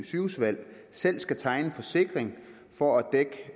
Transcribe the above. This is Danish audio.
sygehusvalg selv skal tegne en forsikring for